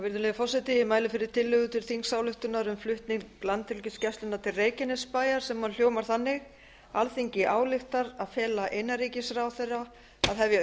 virðulegi forseti ég mæli fyrir tillögu til þingsályktunar um flutning landhelgisgæslunnar til reykjanesbæjar sem hljóðar þannig alþingi ályktar að fela innanríkisráðherra að hefja